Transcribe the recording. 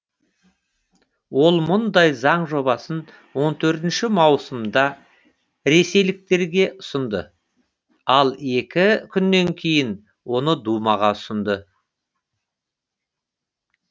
ол мұндай заң жобасын он төртінші маусымда ресейліктерге ұсынды ал екі күннен кейін оны думаға ұсынды